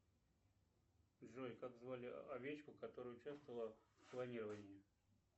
джой как звали овечку которая участвовала в клонировании